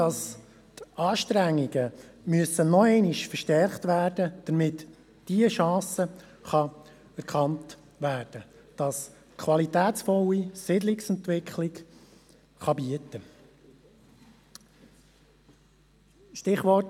Die Anstrengungen müssen nochmals verstärkt werden, damit diese Chance, die eine qualitätsvolle Siedlungsentwicklung bieten kann, erkannt wird.